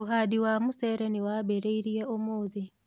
ũhandi wa mũcere niwambirĩirie ũmũthĩ.